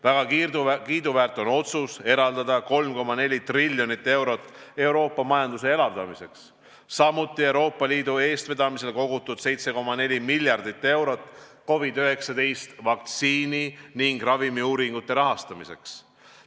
Väga kiiduväärt on otsus eraldada 3,4 triljonit eurot Euroopa majanduse elavdamiseks, samuti on Euroopa Liidu eestvedamisel kogutud 7,4 miljardit eurot COVID-19 vaktsiini ning ravimiuuringute rahastamiseks.